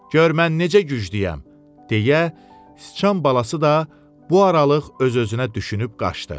Gör mən necə güclüyəm, deyə, sıçan balası da bu aralıq öz-özünə düşünüb qaçdı.